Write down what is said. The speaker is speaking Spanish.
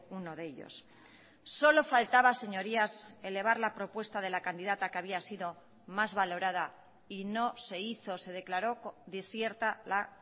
uno de ellos solo faltaba señorías elevar la propuesta de la candidata que había sido más valorada y no se hizo se declaró desierta la